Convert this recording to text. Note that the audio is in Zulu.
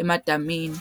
emadamini.